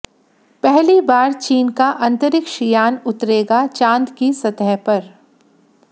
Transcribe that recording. पहली बार चीन का अंतरिक्ष यान उतरेगा चांद की सतह पर